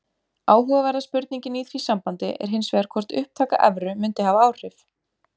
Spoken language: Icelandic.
Áhugaverða spurningin í því sambandi er hins vegar hvort upptaka evru mundi hafa áhrif.